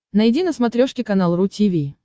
найди на смотрешке канал ру ти ви